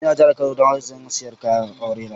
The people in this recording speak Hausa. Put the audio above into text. N'na jihar Kano yanzun haka, siyan kayan aure ta